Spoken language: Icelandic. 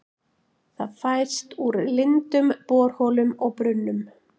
Það fæst úr lindum, borholum og brunnum.